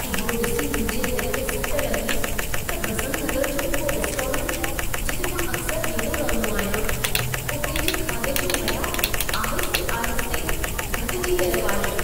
इहो ॾिसी मुंहिंजे दिल खे सट लॻी त बसंत नगर जो उहो रेस्टोरंट जिते मां अक्सर वेंदो रहंदो आहियां, उते जे खाधे जो मयारु आहिस्ते -आहिस्ते घटिजी रहियो आहे।